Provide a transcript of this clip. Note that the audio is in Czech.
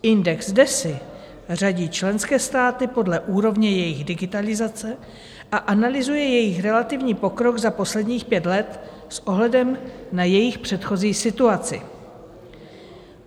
Index DESI řadí členské státy podle úrovně jejich digitalizace a analyzuje jejich relativní pokrok za posledních pět let s ohledem na jejich předchozí situaci.